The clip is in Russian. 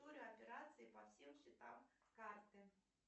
история операций по всем счетам карты